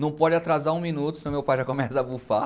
Não pode atrasar um minuto, senão meu pai já começa a bufar.